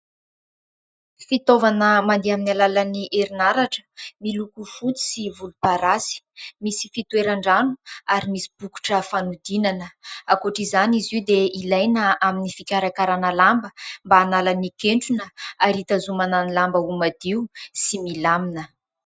Fitaovana mandeha amin'ny alalan'ny herinaratra, miloko fotsy sy volomparasy. Misy fitoeran-drano ary misy bokotra fanodinana. Ankoatr'izany izy io dia ilaina amin'ny fikarakarana lamba mba hanala ny kentrona ary hitazomana ny lamba mba ho madio dy milamina.